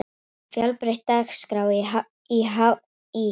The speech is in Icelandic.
Fjölbreytt dagskrá í HÍ